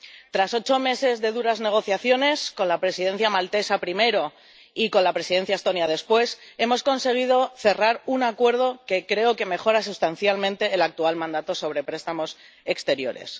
Tras ocho meses de duras negociaciones con la Presidencia maltesa primero y con la Presidencia estonia después, hemos conseguido cerrar un acuerdo que creo que mejora sustancialmente el actual mandato de préstamos exteriores.